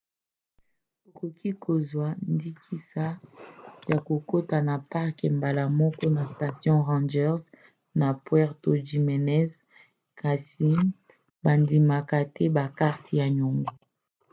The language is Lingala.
okoki kozwa ndingisa ya kokota na parke mbala moko na station ranger na puerto jiménez kasi bandimaka te bakarte ya nyongo